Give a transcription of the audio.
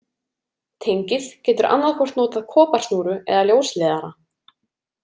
Tengið getur annaðhvort notað koparsnúru eða ljósleiðara.